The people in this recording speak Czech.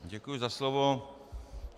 Děkuji za slovo.